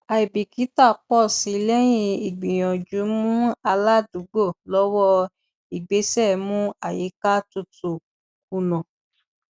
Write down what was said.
àìbìkítà pọ sí lẹyìn ìgbìyànjú mú aládùúgbò lọwọ ìgbésẹ mú àyíká tutù kùnà